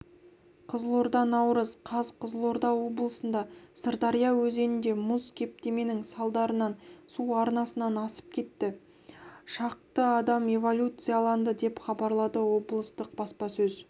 қызылорда наурыз қаз қызылорда облысында сырдария өзенінде мұз кептеменің салдарынан су арнасынан асып кетті шақты адам эвакуацияланды деп хабарлады облыстық баспасөз